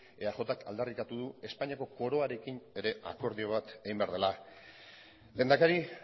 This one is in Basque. eajk aldarrikatu du espainiako koroarekin ere akordio bat egin behar dela lehendakari